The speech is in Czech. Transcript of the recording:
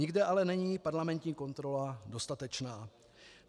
Nikde ale není parlamentní kontrola dostatečná.